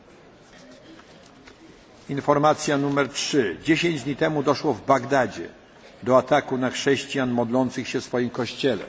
Trzecia informacja W Bagdadzie 10 dni temu doszło do ataku na chrześcijan modlących się w swoim kościele.